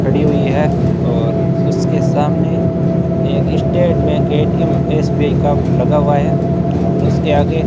खड़ी हुई है और उसके सामने एक स्टेट बैंक ए_टी_एम एस_बी_आई का लगा हुआ है और उसके आगे --